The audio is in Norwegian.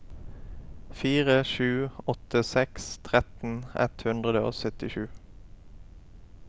fire sju åtte seks tretten ett hundre og syttisju